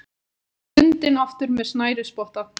Bundinn aftur með snærisspotta.